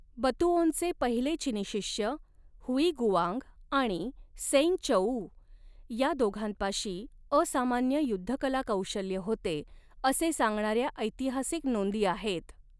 बतुओंचे पहिले चिनी शिष्य, हुइगुआंग आणि सेंगचौऊ या दोघांपाशी असामान्य युद्धकलाकौशल्य होते असे सांगणाऱ्या ऐतिहासिक नोंदी आहेत.